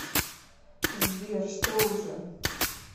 сбер что уже